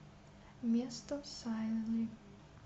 место сайли